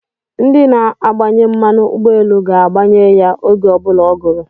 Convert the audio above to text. Ndi na-agbanye mmanụ ugboelu ga-agbanye ya oge obula o guru